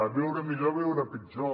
viure millor o viure pitjor